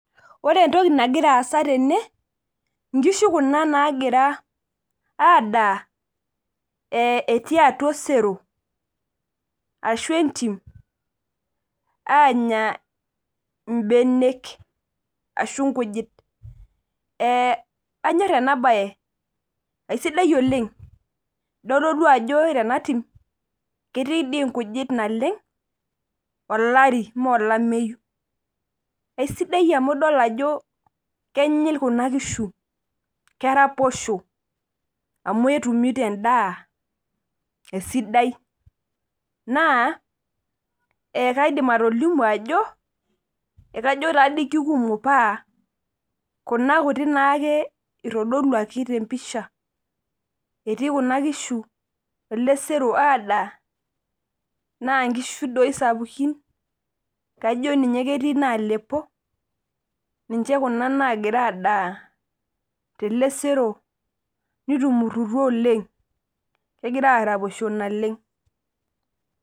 Ore entoki nagira aasa tene, nkishu Kuna naagira aasa, etii atua osero. ashu entim, aanya ibenek ashu nkujit.ee anyone ena bae aisidai oleng. itodolu ajo ore ena tim ketii dii inkujit naleng, olari, ime olameyu. aisidai amu idol ajo kenyil Kuna kishu, keraposho. amu entumoto edaa, esidai. naa ekeidim atolimu ajo, ekajo taa dii kikumok paa kunak kutik naa ake itodoluaki te mpisha. etii Kuna kishu ele sero adaa, naa nkishu doi sapukin kajo ninye ketii inaalepo. ninye Kuna naagira adaa tele sero. nitumurutua oleng. kegira aaraposho naleng.